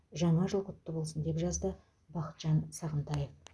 жаңа жыл құтты болсын деп жазды бақытжан сағынтаев